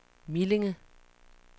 Millinge